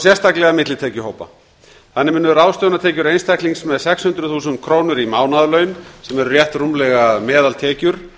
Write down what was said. sérstaklega millitekjuhópa þannig munu ráðstöfunartekjur einstaklings með sex hundruð þúsund krónur í mánaðarlaun sem eru rétt rúmlega meðaltekjur